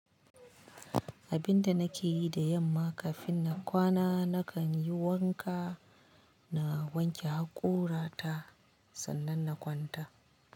Abinda nake yi da yamma kafin na kwana nakan yi wanka na wanke hakora ta sannan na kwanta.